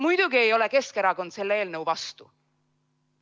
Muidugi ei ole Keskerakond selle eelnõu vastu.